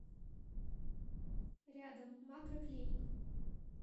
рядом макроклиник